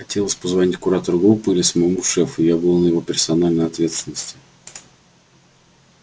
хотелось позвонить куратору группы или самому шефу я был на его персональной ответственности